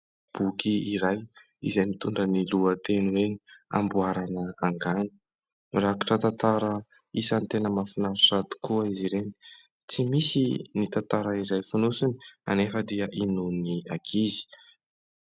Boky iray izay mitondra ny lohateny hoe : "amboarana angano". Rakitra tantara isan'ny tena mahafinaritra tokoa izy ireny. Tsy misy ny tantara izay fonosiny, anefa dia hinoan'ny ankizy.